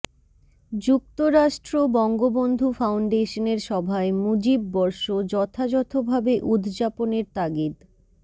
যুক্তরাষ্ট্র বঙ্গবন্ধু ফাউন্ডেশনের সভায় মুজিব বর্ষ যথাযথভাবে উদযাপনের তাগিদ